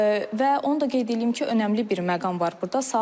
Və onu da qeyd eləyim ki, önəmli bir məqam var burda.